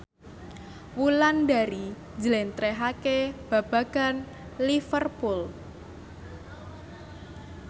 Wulandari njlentrehake babagan Liverpool